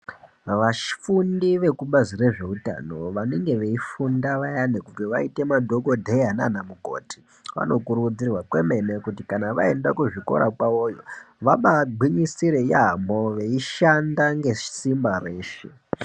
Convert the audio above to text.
Vafundi vekubazi rezveutano vanenge veifunda vayani kuti vaite madhokodheya naamukoti vano kurudzirwa kwemene kuti kana vaenda kuzvikora kwawoyo vabaa gwinyisire yaamho veishanda ngesimba reshe.